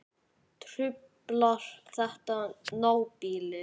Truflar þetta nábýli?